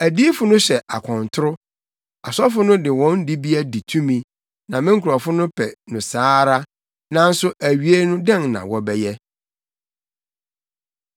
Adiyifo no hyɛ akɔntoro, asɔfo no de wɔn dibea di tumi, na me nkurɔfo no pɛ no saa ara. Nanso awiei no dɛn na wobɛyɛ?”